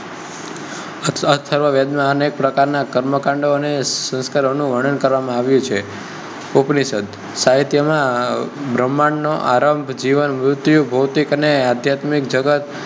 અથર્વ વેદ માં અનેક પ્રકાર ના કર્મકાંડ અને સંસ્કારો નું વર્ણન કરવા માં આવ્યું છે. ઉપનિષેધ સાહિત્ય માં બ્રહ્માણ્ડ નો આરંભ, જીવન, મૃત્યુ, ભોતિકઅને અધ્યાત્મિક જગત